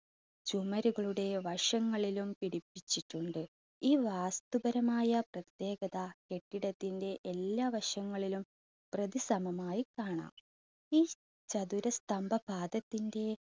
ചുമരുകളുടെ വശങ്ങളിലും പിടിപ്പിച്ചിട്ടുണ്ട് ഈ വാസ്തുപരമായ പ്രത്യേകത കെട്ടിടത്തിന്റെ എല്ലാ വശങ്ങളിലും പ്രതിസമമായി കാണാം. ഈ ചതുര സ്തംഭ പാദത്തിന്റെ